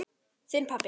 Þinn, pabbi.